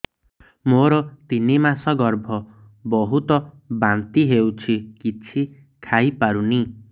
ମୋର ତିନି ମାସ ଗର୍ଭ ବହୁତ ବାନ୍ତି ହେଉଛି କିଛି ଖାଇ ପାରୁନି